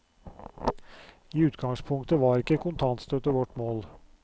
I utgangspunktet var ikke kontantstøtte vårt mål.